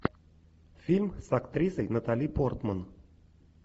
фильм с актрисой натали портман